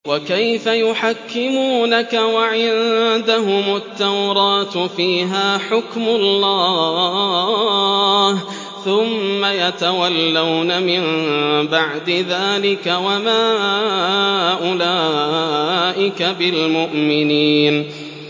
وَكَيْفَ يُحَكِّمُونَكَ وَعِندَهُمُ التَّوْرَاةُ فِيهَا حُكْمُ اللَّهِ ثُمَّ يَتَوَلَّوْنَ مِن بَعْدِ ذَٰلِكَ ۚ وَمَا أُولَٰئِكَ بِالْمُؤْمِنِينَ